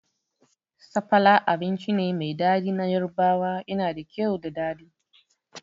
Sapala abinci ne mai daɗi na Yarbawa, yana da kyau da daɗi